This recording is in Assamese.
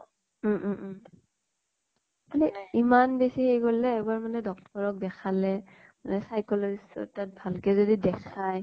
উম উম উম । কিন্তু ইমান বেছি হেৰি কৰিলে এবাৰ মানে doctor ক দেখালে মানে psychologist ৰ তাত ভাল কে যদি দেখাই